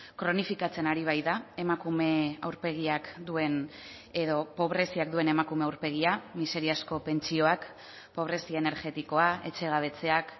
kronifikatzen ari baita emakume aurpegiak duen edo pobreziak duen emakume aurpegia miseriazko pentsioak pobrezia energetikoa etxegabetzeak